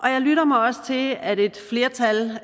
jeg lytter mig også til at et flertal